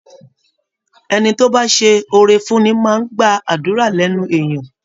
Ẹni tó bá ṣe oore fúnni máa gba àdúra lẹ́nu èèyan